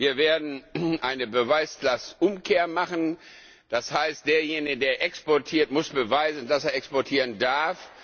gut. Wir werden eine Beweislastumkehr machen, das heißt, derjenige, der exportiert, muss beweisen, dass er exportieren darf.